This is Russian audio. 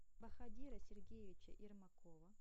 баходира сергеевича ермакова